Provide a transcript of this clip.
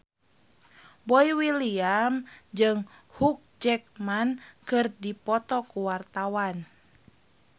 Boy William jeung Hugh Jackman keur dipoto ku wartawan